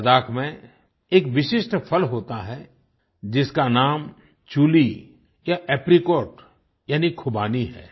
लद्दाख में एक विशिष्ट फल होता है जिसका नाम चूली या एप्रिकॉट यानी खुबानी है